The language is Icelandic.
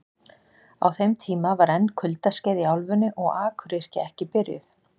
Á þeim tíma var enn kuldaskeið í álfunni og akuryrkja ekki byrjuð.